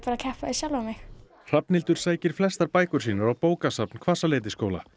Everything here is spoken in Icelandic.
að keppa við sjálfa mig Hrafnhildur sækir flestar bækur sínar á bókasafn Hvassaleitisskóla